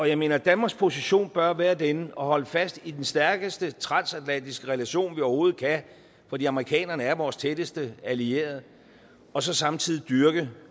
jeg mener at danmarks position bør være den at holde fast i den stærkest transatlantiske relation vi overhovedet kan fordi amerikanerne er vores tætteste allierede og så samtidig dyrke